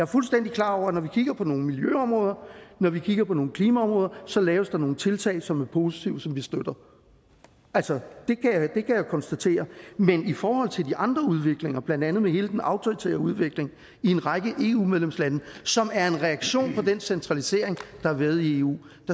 fuldstændig klar over at når vi kigger på nogle miljøområder og når vi kigger på nogle klimaområder så laves der nogle tiltag som er positive og som vi støtter altså det kan jeg jo konstatere men i forhold til de andre udviklinger blandt andet med hele den autoritære udvikling i en række eu medlemslande som er en reaktion på den centralisering der har været i eu